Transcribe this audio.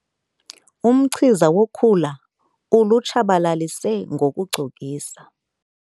Umchiza wokhula ulutshabalalise ngokucokisa.